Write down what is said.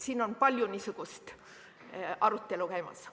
Siin on palju niisugust arutelu käimas.